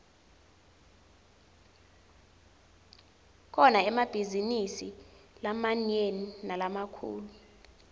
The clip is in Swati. kukhona emabhizinidi lamaniane nalamakhulu